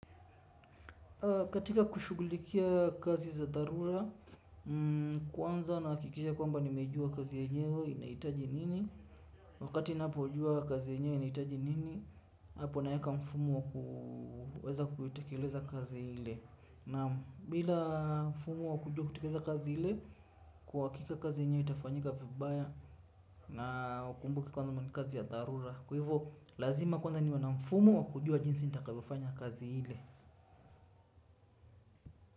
Katika kushugulikia kazi za dharura, kwanza na aakikisha kwamba nimejua kazi yenyewe inaitaji nini. Wakati napo jua kazi yenyewe inaitaji nini, hapo naeka mfumu wa kuweza kuitekeleza kazi hile. Naam bila mfumu wa kujua kutikeleza kazi hile, kwa akika kazi yenyewe itafanyika fibaya na ukumbuke kwanza mani kazi ya dharura. Kuhivo, lazima kwanza niwa na mfumu wa kujua jinsi nitakavyo fanya kazi hile.